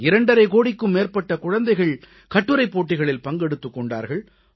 2 ½ கோடிக்கும் மேற்பட்ட குழந்தைகள் கட்டுரைப் போட்டிகளில் பங்கெடுத்துக் கொண்டார்கள்